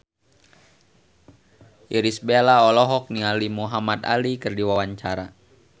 Irish Bella olohok ningali Muhamad Ali keur diwawancara